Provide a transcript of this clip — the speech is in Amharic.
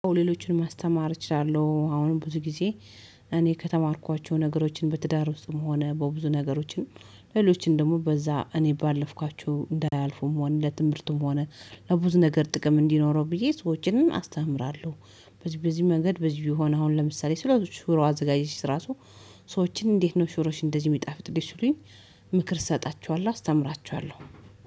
ሌሎችን ማስተማር እችላለሁ አሁንም ብዙ ጊዜ። እኔ ከተማርኳቸው ነገሮችን በትዳር ውስጥም ሆነ በብዙ ነገሮችን ሌሎችን ደግሞ በዛ እኔ ባለፍኳችሁ እንዳያልፉም ሆነ ለትምህርቱም ሆነ ለብዙ ነገር ጥቅም እንዲኖረው ብዬ ሰዎችንም አስተምራለሁ። በዚህ በዚህ መንገድ በዚህ ቢሆን አሁን ለምሳሌ ስለ ሽሮ አዘጋጀች ስራ። ሰዎችን እንዴት ነው? ሽሮሽ እንደዚህ የሚጣፍጥ ሲሉኝ ምክር እሰጣችኋለሁ አስተምራችኋለሁ።